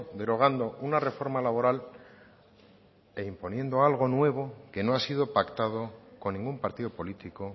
derogando una reforma laboral e imponiendo algo nuevo que no ha sido pactado con ningún partido político